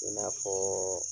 I n'a fɔɔ